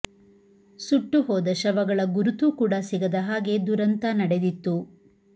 ಸುಟ್ಟು ಹೋದ ಶವಗಳ ಗುರುತೂ ಕೂಡ ಸಿಗದ ಹಾಗೆ ದುರಂತ ನಡೆದಿತ್ತು